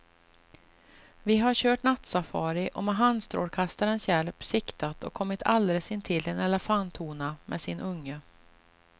Vi har kört nattsafari och med handstrålkastarens hjälp siktat och kommit alldeles intill en elefanthona med sin unge.